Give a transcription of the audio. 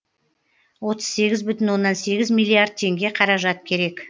отыз сегіз бүтін оннан сегіз миллиард теңге қаражат керек